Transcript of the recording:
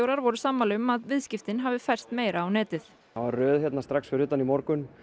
voru sammála um að viðskiptin hafi færst meira á netið það var röð strax fyrir utan í morgun